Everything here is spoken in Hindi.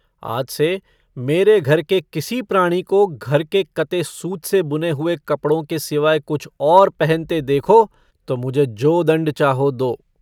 आज से मेरे घर के किसी प्राणी को घर के कते सूत से बुने हुए कपड़ों के सिवाय कुछ और पहनते देखो तो मुझे जो दण्ड चाहो दो।